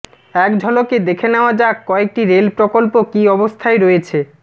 এক ঝলকে দেখে নেওয়া যাক কয়েকটি রেল প্রকল্প কি অবস্থায় রয়েছে